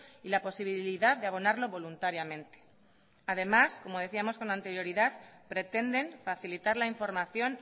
y la posibilidad de abonarlo voluntariamente además como decíamos con anterioridad pretenden facilitar la información